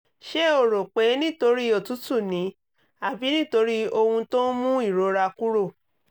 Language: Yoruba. ṣé o rò pé nítorí òtútù ni àbí nítorí ohun tó ń mú ìrora kúrò?